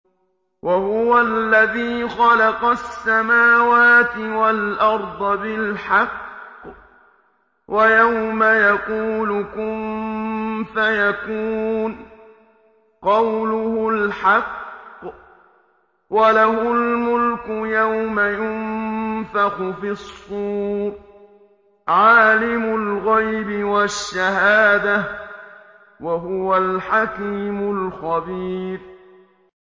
وَهُوَ الَّذِي خَلَقَ السَّمَاوَاتِ وَالْأَرْضَ بِالْحَقِّ ۖ وَيَوْمَ يَقُولُ كُن فَيَكُونُ ۚ قَوْلُهُ الْحَقُّ ۚ وَلَهُ الْمُلْكُ يَوْمَ يُنفَخُ فِي الصُّورِ ۚ عَالِمُ الْغَيْبِ وَالشَّهَادَةِ ۚ وَهُوَ الْحَكِيمُ الْخَبِيرُ